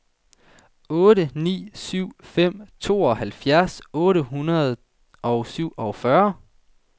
otte ni syv fem tooghalvfjerds otte hundrede og syvogfyrre